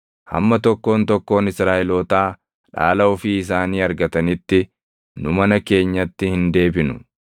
Hamma tokkoon tokkoon Israaʼelootaa dhaala ofii isaanii argatanitti nu mana keenyatti hin deebinu.